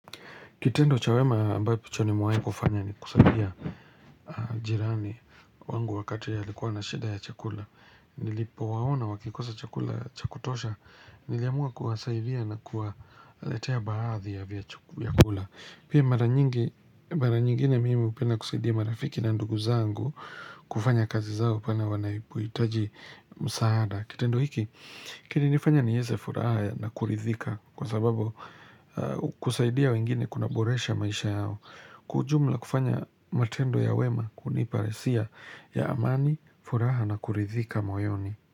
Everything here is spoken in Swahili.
Kitendo cha wema ambacho nimewahikufanya ni kusaidia jirani wangu wakati alikuwa na shida ya chakula. Nilipowaona wakikosa chakula cha kutosha, niliamua kuwasaidia na kuwaletea baadhi ya vya chakula. Pia mara nyingi nyingine mimi hupenda kusaidia marafiki na ndugu zangu kufanya kazi zao pale wanapohitaji msaada. Kitendo hiki, kinanifanya niweze furaha na kuridhika kwa sababu kusaidia wengine kuna boresha maisha yao. Kwa ujumla kufanya matendo ya wema hunipa hisia ya amani, furaha na kuridhika moyoni.